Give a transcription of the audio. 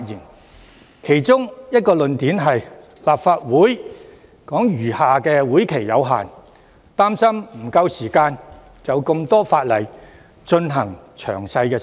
他們提出的其中一個論點是，立法會餘下的會期有限，擔心沒有足夠時間就多項法例進行詳細審議。